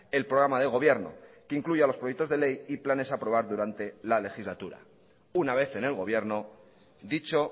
el programa de gobierno que incluya los proyectos de ley y planes a aprobar durante la legislatura una vez en el gobierno dicho